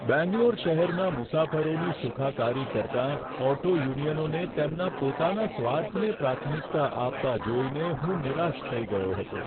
બેંગ્લોર શહેરના મુસાફરોની સુખાકારી કરતાં ઓટો યુનિયનોને તેમના પોતાના સ્વાર્થને પ્રાથમિકતા આપતા જોઈને હું નિરાશ થઈ ગયો હતો.